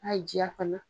A y'i diya fana